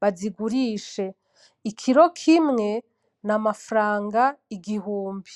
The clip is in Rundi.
bazigurishe. Ikiro kimwe n’amafaranga igihumbi.